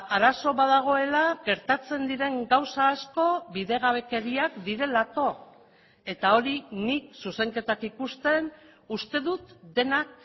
arazo bat dagoela gertatzen diren gauza asko bidegabekeriak direlako eta hori nik zuzenketak ikusten uste dut denak